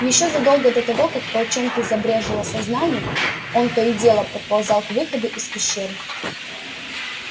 ещё задолго до того как в волчонке забрезжило сознание он то и дело подползал к выходу из пещеры